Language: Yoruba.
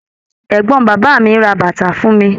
Ẹgbọn bàbá mí ra bàtà fún mí